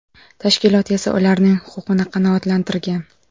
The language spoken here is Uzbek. Tashkilot esa ularning huquqini qanoatlantirgan.